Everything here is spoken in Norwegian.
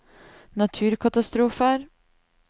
naturkatastrofer